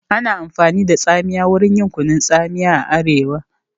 Ana amfani da tsamiya wurin yin kunun tsamiya a arewa